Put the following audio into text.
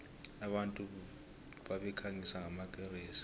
abantu babekhanyisa ngamakeresi